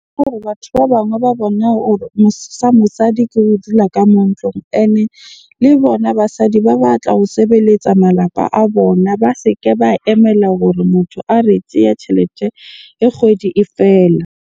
Batho ba bangwe ba bone hore mosadi ke ho dula ka mo ntlong. Ene le bona basadi ba batla ho sebeletsa malapa a bona, ba se ke ba emela hore motho a re tjhelete kgwedi e fela.